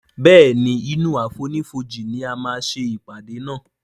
Béèni inú àfonífojì ní a má ṣe ìpàdé nà.